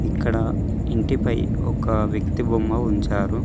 ఇక్కడ ఇంటిపై ఒక వ్యక్తి బొమ్మ ఉంచారు.